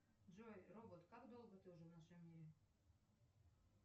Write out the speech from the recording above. джой робот как долго ты уже в нашем мире